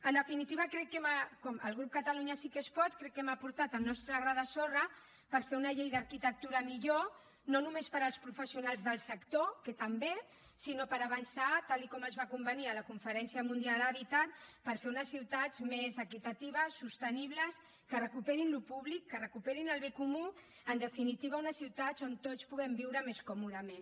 en definitiva crec que el grup catalunya sí que es pot crec que hem aportat el nostre gra de sorra per fer una llei d’arquitectura millor no només per als professionals del sector que també sinó per avançar tal com es va convenir a la conferència mundial hàbitat per fer unes ciutats més equitatives sostenibles que recuperin allò públic que recuperin el bé comú en definitiva unes ciutats o tots puguem viure més còmodament